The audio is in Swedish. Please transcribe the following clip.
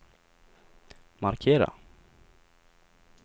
markera